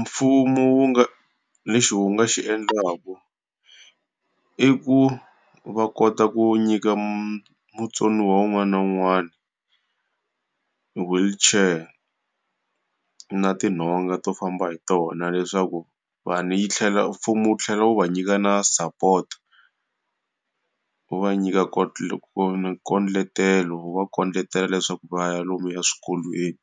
Mfumo wu nga lexi wu xi endlaka, i ku va kota ku nyika mutsoniwa wun'wana na wun'wana wheelchair nga tinhonga to famba hi tona leswaku yi tlhela mfumo wu tlhela wu va nyika na support. Wu va nyika nkucetelo wu va kucetela leswaku va ya lomuya swikolweni.